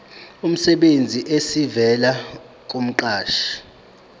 emsebenzini esivela kumqashi